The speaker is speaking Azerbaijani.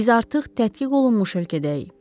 Biz artıq tətbiq olunmuş ölkədəyik.